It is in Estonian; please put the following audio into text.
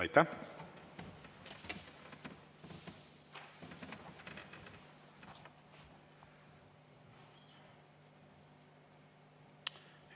Aitäh!